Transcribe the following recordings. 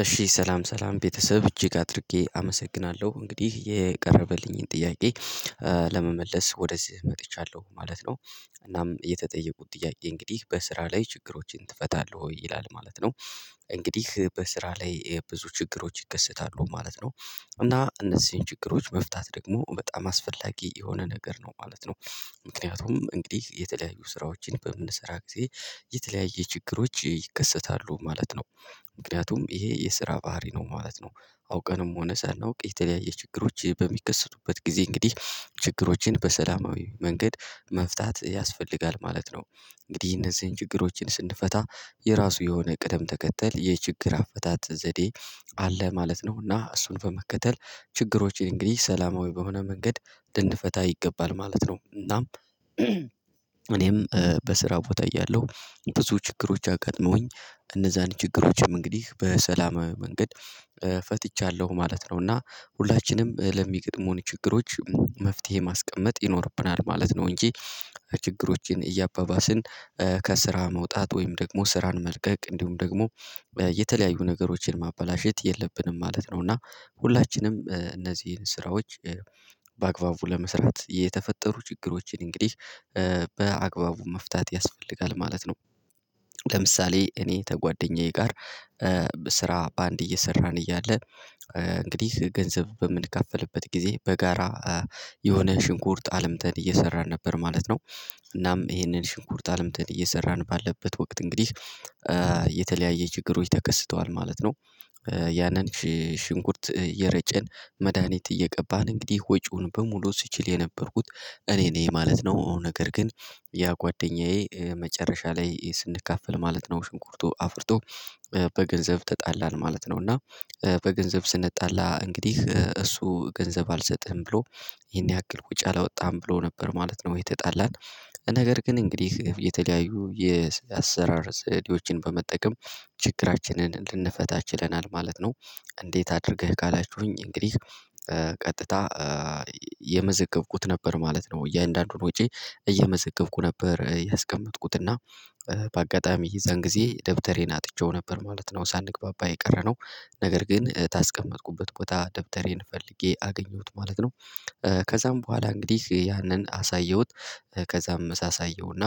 እሺ ሰላም ሰላም ቤተሰብ እጅግ አድርጌ አመሰግናለሁ። እንግዲህ የቀረበልኝን ጥያቄ ለመመለስ ወደዚህ መጥቻለሁ ማለት ነው። እናም የተጠየቁት ጥያቄ እንግዲህ በስራ ላይ ችግሮችን ትፈታለህ ወይ? ይላል ማለት ነው። እንግዲህ በስራ ላይ ብዙ ችግሮች ይከሰታሉ ማለት ነው። እና እነዚህን ችግሮች መፍታት ደግሞ በጣም አስፈላጊ የሆነ ነገር ነው ማለት ነው። ምክንያቱም እንግዲህ የተለያዩ ስራዎችን በምንሰራ ጊዜ የተለያየ ችግሮች ይከሰታሉ ማለት ነው። ምክንያቱም ይሄ የስራ ባህሪ ነው ማለት ነው። አውቀንም ሆነ ሳናውቅ የተለያየ ችግሮች በሚከሰቱበት ጊዜ እንግዲህ ችግሮችን በሰላማዊ መንገድ መፍታት ያስፈልጋል ማለት ነው። እንግዲህ እነዚህን ችግሮችን ስንፈታ የራሱ የሆነ ቅደም ተከተል የችግር አፈታት ዘዴ አለ ማለት ነው። እና እሱን በመከተል ችግሮችን እንግዲህ ሰላማዊ በሆነ መንገድ ልንፈታ ይገባል ማለት ነው። እናም እኔም በስራው ቦታ እያለሁ ብዙ ችግሮች አጋጥመውኝ እነዛን ችግሮችም እንግዲህ በሰላማዊ መንገድ ፈትቻለሁ ማለት ነው። እና ሁላችንም ለሚገጥሙን ችግሮች መፍትሄ ማስቀመጥ ይኖርብናል ማለት ነው። እንጂ ችግሮችን እያባባስን ከስራ መውጣት ወይም ደግሞ ስራን መልቀቅ እንዲሁም ደግሞ የተለያዩ ነገሮችን ማበላሸት የለብንም ማለት ነው። እና ሁላችንም እነዚህን ስራዎች በአግባቡ ለመስራት የተፈጠሩ ችግሮችን እንግዲህ በአግባቡ መፍታት ያስፈልጋል ማለት ነው። ለምሳሌ እኔ ተጓደኛዬ ጋር ስራ በአንድ እየሰራን እያለ እንግዲህ ገንዘብ በምንካፈልበት ጊዜ በጋራ የሆነ ሽንኩርት አልምተን እየሰራን ነበር ማለት ነው። እናም ይሄንን ሽንኩርት አልምተን እየሰራን ባለበት ወቅት እንግዲህ የተለያየ ችግሮች ተከስተዋል ማለት ነው። ያንን ሽንኩርት እየረጨን መድሃኒት እየቀባን እንግዲህ ወጪውን በሙሉ ስችል የነበርኩት እኔ ነኝ ማለት ነው። ነገር ግን ያ ጓደኛዬ መጨረሻ ላይ ስንካፈል ማለት ነው ሽንኩርቱ አፍርቶ በገንዘብ ተጣላን ማለት ነው። እና በገንዘብ ስንጣላ እንግዲህ እሱ ገንዘብ አልሰጥህም ብሎ ይሄን ያክል ወጪ አላወጣህም ብሎ ነበር ማለት ነው የተጣላን። ነገር ግን እንግዲህ የተለያዩ የአሰራር ዘዴዎችን በመጠቀም ችግራችንን ልንፈታችለናል ማለት ነው። እንዴት አድርገህ? ካላችሁኝ እንግዲህ ቀጥታ የመዘገብኩት ነበር ማለት ነው። እያንዳንዱን ወጬን እየመዘገብኩ ነበር ያስቀመጥኩት እና በአጋጣሚ ይዛን ጊዜ ደብተሬን አጥቼው ነበር ማለት ነው ሳንግባባ የቀረነው ነገር ግን ካስቀመጥኩበት ቦታ ደብተሬን ፈልጌ አገኘሁት ማለት ነው። ከዛም በኋላ እንግዲህ ያንን አሳየሁት ከዛም ሳሳየውና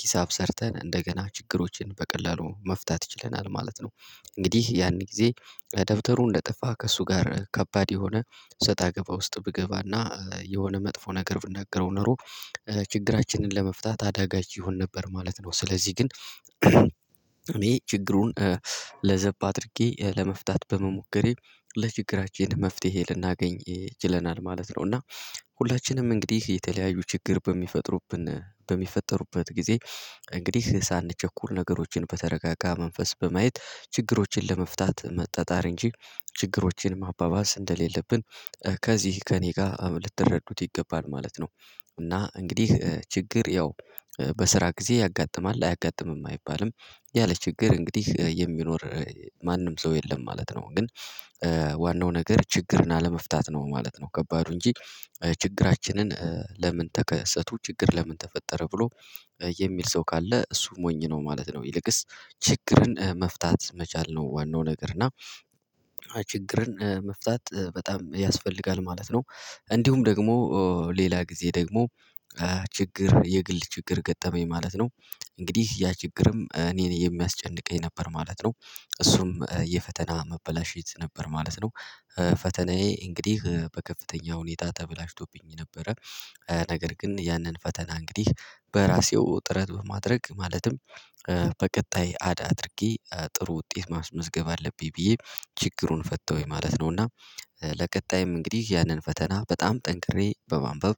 ሂሳብ ሰርተን እንደገና ችግሮችን በቀላሉ መፍታት ችለናል ማለት ነው። እንግዲህ ያን ጊዜ ደብተሩ እንደጠፋ ከእሱ ጋር ከባድ የሆነ ሰጣ ገባ ውስጥ ብገባ እና የሆነ መጥፎ ነገር ብናገረው ኖሮ ችግራችንን ለመፍታት አዳጋች ይሆን ነበር ማለት ነው። ስለዚህ ግን እኔ ችግሩን ለዘብ አድርጌ ለመፍታት በመሞከሬ ለችግራችን መፍትሄ ልናገኝ ችለናል ማለት ነው። እና ሁላችንም እንግዲህ የተለያዩ ችግር በሚፈጥሩብን በሚፈጠሩበት ጊዜ እንግዲህ ሳንቸኩል ነገሮችን በተረጋጋ መንፈስ በማየት ችግሮችን ለመፍታት መጣጣር እንጂ ችግሮችን ማባባስ እንደሌለብን ከዚህ ከእኔ ጋር ልትረዱት ይገባል ማለት ነው። እና እንግዲህ ችግር ያው በስራ ጊዜ ያጋጥማል። አያጋጥምም አይባልም። ያለ ችግር እንግዲህ የሚኖር ማንም ሰው የለም ማለት ነው። ግን ዋናው ነገር ችግርን አለመፍታት ነው ማለት ነው። ከባዱ እንጂ ችግራችንን ለምንን ተከሰቱ ችግር ለምን ተፈጠረ ብሎ የሚል ሰው ካለ እሱ ሞኝ ነው ማለት ነው። ይልቅስ ችግርን መፍታት መቻል ነው ዋናው ነገር እና ችግርን መፍታት በጣም ያስፈልጋል ማለት ነው። እንዲሁም ደግሞ ሌላ ጊዜ ደግሞ ችግር የግል ችግር ገጠመኝ ማለት ነው እንግዲህ ያ ችግርም እኔን የሚያስጨንቀኝ ነበር ማለት ነው። እሱም የፈተና መበላሸት ነበር ማለት ነው ፈተናዬ እንግዲህ በከፍተኛ ሁኔታ ተበላሽቶብኝ ነበረ። ነገር ግን ያንን ፈተና እንግዲህ በራሴው ጥረት በማድረግ ማለትም በቀጣይ አድ አድርጌ ጥሩ ውጤት ማስመዝገብ አለብኝ ብዬ ችግሩን ፈታውኝ ማለት ነው። እና ለቀጣይም እንግዲህ ያንን ፈተና በጣም ጠንክሬ በማንበብ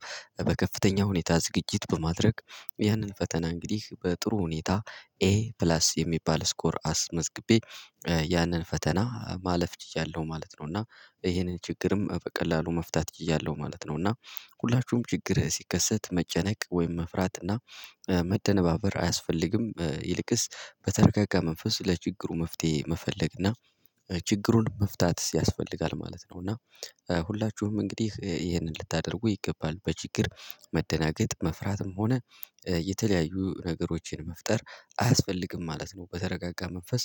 በከፍተኛ ሁኔታ ዝግጅት በማድረግ ያንን ፈተና እንግዲህ በጥሩ ሁኔታ ኤ ፕላስ የሚባል ስኮር አስመዝግቤ ያንን ፈተና ማለፍ ችያለሁ ማለት ነው። እና ይሄንን ችግርም በቀላሉ መፍታት ችያለሁ ማለት ነው እና። ሁላችሁም ችግር ሲከሰት መጨነቅ ወይም መፍራት እና መደነባበር አያስፈልግም። ይልቅስ በተረጋጋ መንፈስ ለችግሩ መፍትሄ መፈለግ እና ችግሩን መፍታት ያስፈልጋል ማለት ነው። እና ሁላችሁም እንግዲህ ይሄንን ልታደርጉ ይገባል። በችግር መደናገጥ፣ መፍራትም ሆነ የተለያዩ ነገሮችን መፍጠር አያስፈልግም ማለት ነው። በተረጋጋ መንፈስ